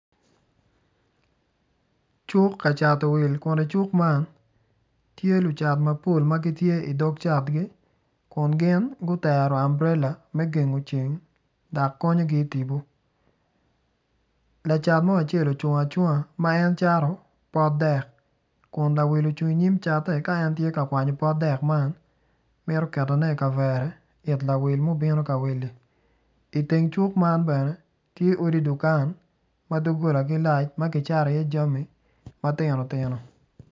Cuk kacato will kun i cuk man tye lucat mapol ma gitye i dog catgi kun gin gutero ambrela me gengo ceng dok konyogi i tipo lacat mo ocung acunga ma en cato pot dek kun lawil ocung i nyim catte ka en kwanyo pot dek mito ketone i kavere it lawil ma obino ka willi.